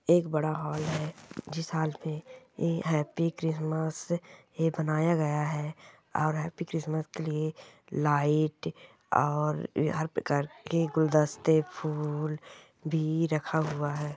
एक बड़ा हॉल है जिस हॉल में हैप्पी क्रिसमस ये बनाया गया है और हैपी क्रिसमस के लिए लाइट और हर प्रकार के गुलदस्ते फूल भी रखा हुआ है।